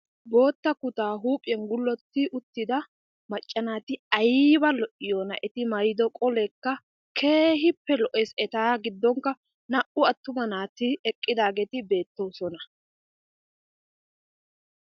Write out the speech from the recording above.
Boottaa kutaa huuphiyan gullotti uttida macca naati ayba lo''iyonaa! Eti mayido qoleekka keehippe lo''ees. Eta giddonkka naa"u attuma naati eqqiidaageti beettoosona.